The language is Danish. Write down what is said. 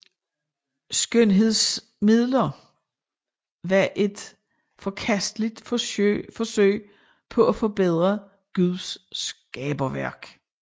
Skønhedsmidler var et forkasteligt forsøg på at forbedre Guds skaberværk